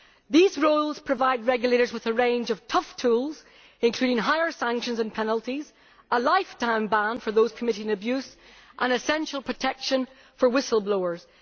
These rules provide regulators with a range of tough tools, including more severe sanctions and penalties, a lifetime ban for those committing abuse, and essential protection for whistleblowers.